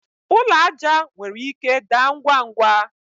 ụlọ aja nwere ike daa ngwa ngwa